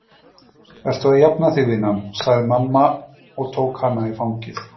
Ertu að jafna þig, vinan? sagði mamma og tók hana í fangið.